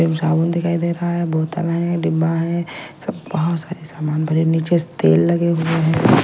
साबुन दिखाई दे रहा है बोतल है डिब्बा है सब बहुत सारे सामान भरे नीचे से तेल लगे हुए है .